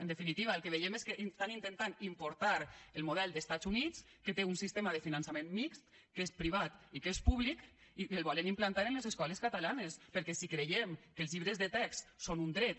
en definitiva el que veiem és que estan intentant importar el model dels estats units que té un finançament mixt que és privat i que és públic i que el volen implantar en les escoles catalanes perquè si creiem que els llibres de text són un dret